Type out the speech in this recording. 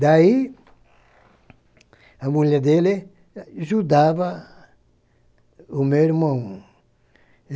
Daí, a mulher dele ajudava o meu irmão.